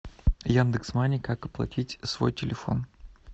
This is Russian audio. яндекс мани как оплатить свой телефон